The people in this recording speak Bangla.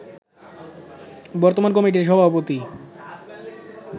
বর্তমান কমিটির সভাপতি